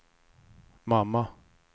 mamma